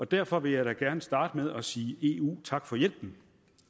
derfor vil jeg da gerne starte med at sige eu tak for hjælpen